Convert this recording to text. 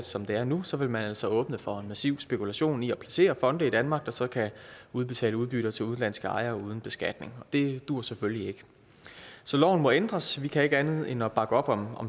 som det er nu så vil man altså åbne for en massiv spekulation i at placere fonde i danmark der så kan udbetale udbytter til udenlandske ejere uden beskatning og det duer selvfølgelig ikke så loven må ændres vi kan ikke andet end at bakke op om